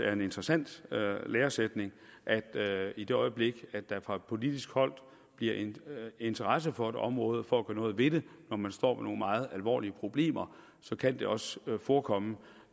er en interessant læresætning at i det øjeblik der fra politisk hold bliver interesse for et område og for at gøre noget ved det når man står med nogle meget alvorlige problemer så kan det også forekomme